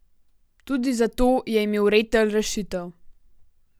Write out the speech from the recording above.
Tudi za to je imel Retelj rešitev.